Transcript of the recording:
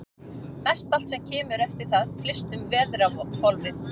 Mestallt sem kemur eftir það flyst um veðrahvolfið.